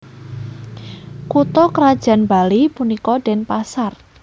Kutha krajan Bali punika Denpasar